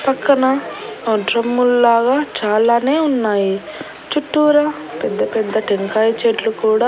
పక్కన ఆ డ్రమ్ముల్లాగా చాలానే ఉన్నాయి చుట్టూరా పెద్దపెద్ద టెంకాయ చెట్లు కూడా--